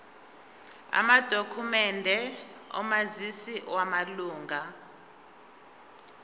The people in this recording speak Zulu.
amadokhumende omazisi wamalunga